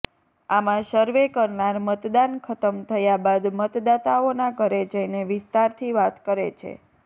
આમાં સર્વે કરનાર મતદાન ખત્મ થયા બાદ મતદાતાઓના ઘરે જઇને વિસ્તારથી વાત કરે છે